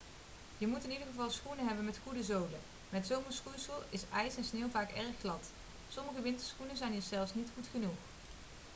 je moet in ieder geval schoenen hebben met goede zolen met zomerschoeisel is ijs en sneeuw vaak erg glad sommige winterschoenen zijn hier zelfs niet goed genoeg